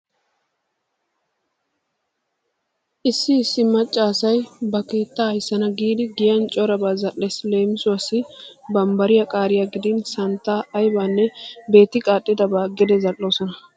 Issi issi macca asay ba keettaa ayssana giidi giyan corabaa zal"ees. Leemisuwawu barbbariya qaariya gidin santtaa aybanne beetti qaaxxabaa gede zal"oosona.